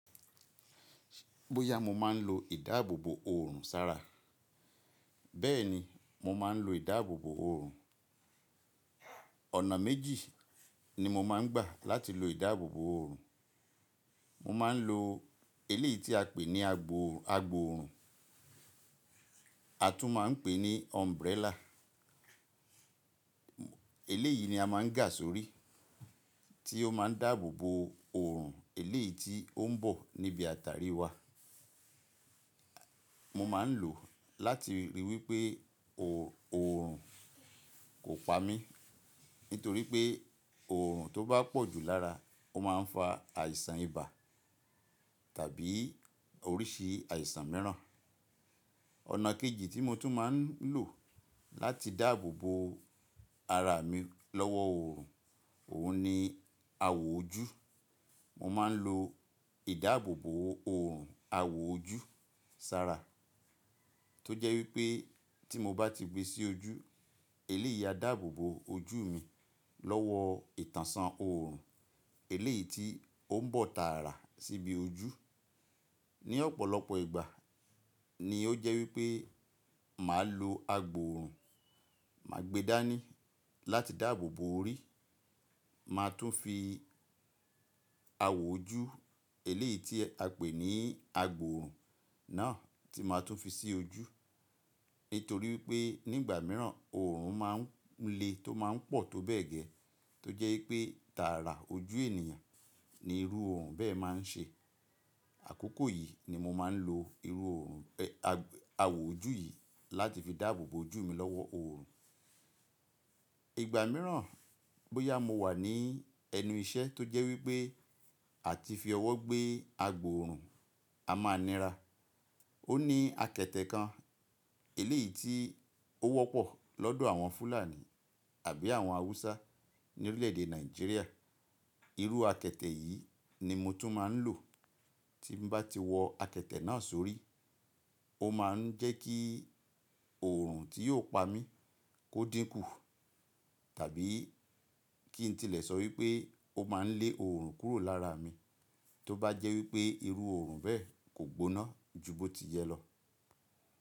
Bóyá mo máa ń lo ìdáàbòbò oòrùn sára. Bẹ́ẹ̀ni, mo máa ń lo ìdáàbòbò oòrùn. Ọ̀nà méjì ni mo máa ń gbà láti lo ìdáàbòbò òrùn. Mo máa ń lo eléyìí tí a pè ní agbòòrùn, a tún máa ń pè é ní umbrella. Eléyìí ni a máa ń gà sórí, tí ó máa ń dáàbò bo oòrùn eléyìí tí ó ń bọ̀ níbi àtàrí wa. Mo máa ń lò ó láti rí wípé oòrùn kò pa mí, nítorí pé oòrùn tó bá pọ̀jù lára, ó máa ń fa àìsàn ibà tàbí oríṣi àìsàn mìíràn. Ọ̀nà kejì tí mo tún máa ń lò láti dáàbò bo ara mi lọ́wọ́ oòrùn, òun ni àwò ojú. Mo máa ń lo ìdáàbòbò oòrùn àwò ojú sára. Tó jẹ́ wípé tí mo bá ti gbe sí ojú, eléyìí á dààbò bo ojú mi lọ́wọ́ ìtànṣán oòrùn eléyìí tí ó ń bọ̀ tààrà síbi ojú. Ni ọ̀pọ̀lọpọ̀ ìgbà ni ó jẹ́ wípé màá lo agbòòrùn, màá gbe dání láti dààbò bo orí, ma tún fi àwò ojú eléyìí tí a pè ní agbòòrùn náà tí ma tún fi sí ojú. Nítorí wípé nígbà míràn oòrùn máa ń le tó máa ń pọ̀ tó bẹ́ẹ̀ gẹ́ẹ́. Tó jẹ́ wípé tààrà ojú ènìyàn ni irú òrùn bẹ́ẹ̀ máa ń ṣe. Àkókò yìí ni mo máa ń lo irú oòrùn, ẹ a awò ojú yìí láti fi dààbò bo ojú mi lọ́wọ́ oòrùn. Ìgbà míràn bóyá mo wà ní ẹnu iṣẹ́ tó jẹ́ wípé àti fi ọwọ́ gbé agbòòrùn, a máa nira. Ó ní akẹ̀tẹ̀ kan eléyìí tí ó wọ́pọ̀ lọ́dọ̀ àwọn Fúlàní àbí àwọn Haúsá ní orílẹ̀-èdè Nàìjíríà. Irú akẹtẹ̀ yìí ni mo tún máa ń lò. Tí mo bá ti wọ akẹ̀tẹ̀ náà sórí, ó máa ń jẹ́ kí oòrùn tí yóò pa mí kó dínkù tàbí kí n tilẹ̀ sọ wípé ó máa ń lé oòrùn kúrò lára mi, tó bá jẹ́ wípé irú oòrùn bẹ́ẹ̀ kò gbóná ju bó ti yẹ lọ.